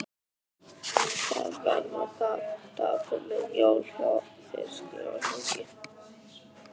Það verða dapurleg jól hjá þér skrifar Helgi.